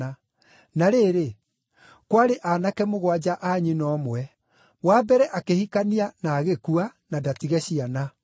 Na rĩrĩ, kwarĩ aanake mũgwanja a nyina ũmwe. Wa mbere akĩhikania na agĩkua, na ndatige ciana.